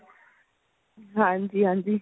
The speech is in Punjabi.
ਹਾਂਜੀ ਹਾਂਜੀ